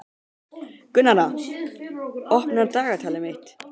Gunnharða, opnaðu dagatalið mitt.